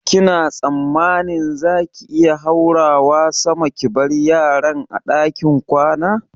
Kina tsammanin za ki iya haurawa sama ki bar yaran a ɗakin kwana?